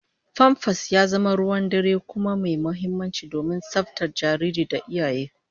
Famfas ya zama ruwan dare kuma mai muhimmanci domin tsaftar jariri da iyaye